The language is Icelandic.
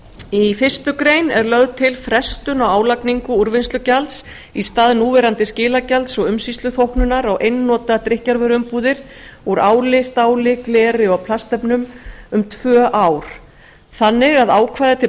í fyrstu grein er lögð til frestun á álagningu úrvinnslugjalds í stað núverandi skilagjalds og umsýsluþóknunar á einnota drykkjarvöruumbúðir úr áli stáli gleri og plastefnum um tvö ár þannig að ákvæði til